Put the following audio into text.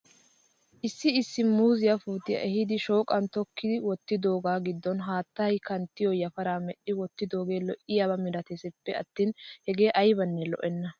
Issi issi muuziyaa puutiyaa ehiidi shooqan tokki wottidoogaa giddon haattay kanttiyoo yafaraa medhdhidi wottidoogee lo'iyaaba milatesppe attin hegee aybanne lo'enna.